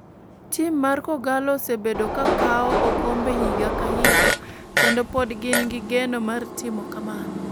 Tim mar kogallo osebedo ka kawo okombe higa ka higa kendo pod gin gi geno mar timo kamano.